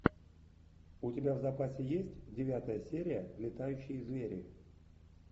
у тебя в запасе есть девятая серия летающие звери